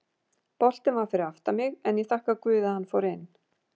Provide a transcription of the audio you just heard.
Boltinn var fyrir aftan mig en ég þakka guði að hann fór inn.